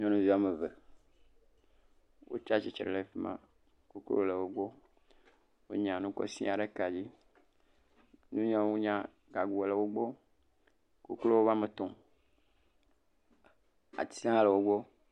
Nyɔnuvi ame eve wotsi atsitre ɖe afi ma. Koklo le wogbɔ. Wonya nu kɔ sɛ̃a ɖe ka dzi. Ŋunyagago le wo gbɔ. Koklowo va me tɔm. Ati hã le wo gbɔ.